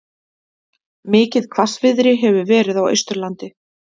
Mikið hvassviðri hefur verið á Austurlandi